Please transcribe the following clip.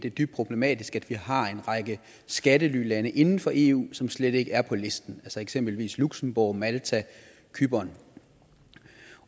er dybt problematisk at vi har en række skattelylande inden for eu som slet ikke er på listen eksempelvis luxembourg malta cypern